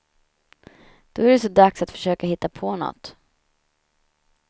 Då är det så dags att försöka hitta på nåt.